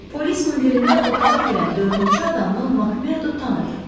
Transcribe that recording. Polis mundirində otağa girən dördüncü adamı Makmerdo tanıdı.